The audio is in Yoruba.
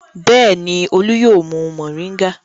Bẹ́ẹ̀ni, Olú yóò mu mòríngà.